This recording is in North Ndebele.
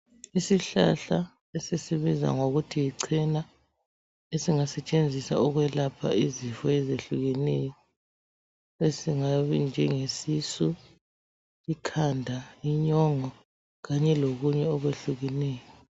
Isihlahla esisibiza ngokuthi yichena, esingasetshenziswa ukwelapha izifo ezehlukeneyo, esingaba njengesisu, ikhanda, inyongo kanye lokunye okwehlukeneyo.